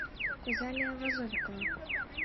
физалия возовикова